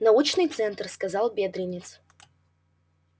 научный центр сказал бедренец